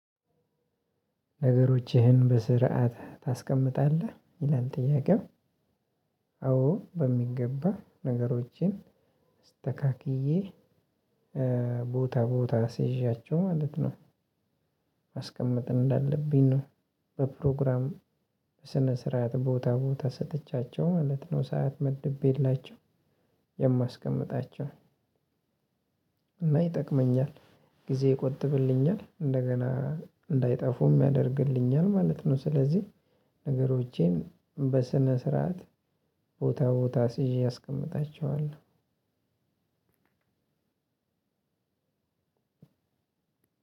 ነገሮችህን በስርዓት ታስቀምጣለህ ይላል ጥያቄው? አዎ በሚገባ ነገሮቼን አስተካክዬ እ ቦታ ቦታ አስይዣቸው ማለት ነው። ማስቀመጥ እንዳለብኝ ነው። በፕሮግራም በስነ ስርዓት ቦታ ቦታ ሰጥቻቸው ማለት ነው። ሰዓት መድቤላቸው የማስቀምጣቸው እና ይጠቅመኛል ጊዜ ይቆጥብልኛል። እንደገና እንዳይጠፉም ያደርግልኛል ማለት ነው። ስለዚህ ነገሮቼን በስነ ስርዓት ቦታ ቦታ አስይዤ አስቀምጣቸዋለሁ።